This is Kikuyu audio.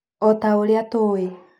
Otaũrĩa tũĩ